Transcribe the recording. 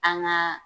An ŋaa